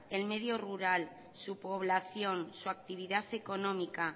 el medio rural su población su actividad económica